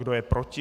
Kdo je proti?